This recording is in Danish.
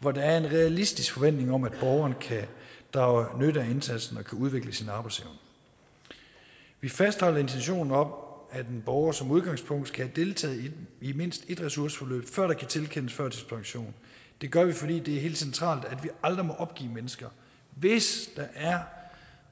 hvor der er en realistisk forventning om at borgeren kan drage nytte af indsatsen og kan udvikle sin arbejdsevne vi fastholder intentionen om at en borger som udgangspunkt skal have deltaget i mindst et ressourceforløb før der kan tilkendes førtidspension det gør vi fordi det er helt centralt at vi aldrig må opgive mennesker hvis der er